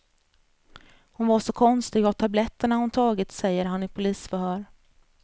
Hon var så konstig av tabletterna hon tagit, säger han i polisförhör.